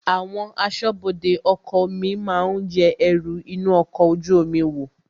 Àwọn asọ́bọdè ọkọ̀ omi máa yẹ ẹrù inú ọkọ̀ ojú omi wò,